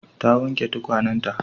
Ta wanke tukwanenta.